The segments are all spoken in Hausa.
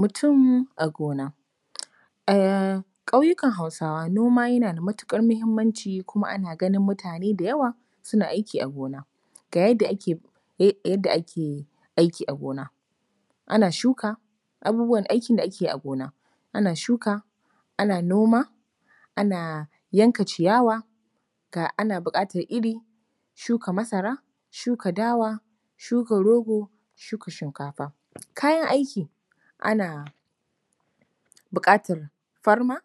Mutum a gona. A ƙauyukan HAusawa, noma yana da matuƙar muhimmanci kuma ana ganin mutane da yawa suna aiki a gona. Ga yadda ake aiki a gona: ana shuka abubuwan da ake aiki a gona, ana shuka, ana noma, ana yanka ciyawa, ga ana buƙatar iri, shuka masara, shuka dawa, shuka rogo, shuka shinkafa. Kayan aiki: ana buƙatar farma,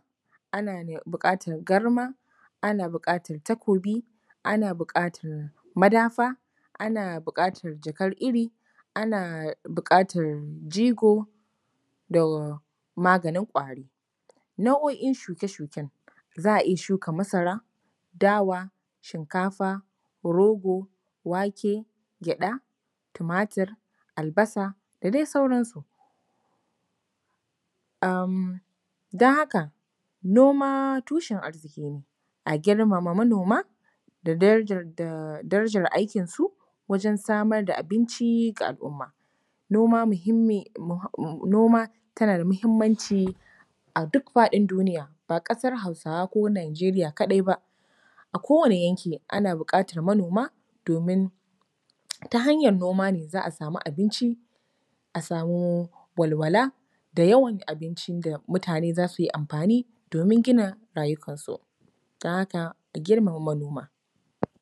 ana buƙatar garma, ana buƙatar takobi, ana buƙatar madafa, ana buƙatar jakar iri, ana buƙatar jigo, don maganin ƙwari. Nau’o’in shuke-shuken: za a iya shuka masara, dawa, shiinkafa, rogo, wake, gyaɗa, tumatur, albasa da dai sauransu. Ahmm, don haka, noma tushen arziƙi ne, a girmama manoma da darajar aikinsu, wajen samar da abinci ga al’umma. Noma muhimmin… noma tana da muhimmanci a duk faɗin duniya, ba ƙasar Hausawa ko Nigeria kaɗai ba, a kowane yanki ana buƙatar manoma domin ta hanyar noma ne za a samu abinci, a samo walwala, da yawan abincin da mutane za su yi amfani domin gina rayukansu. Don haka, a girmama manoma.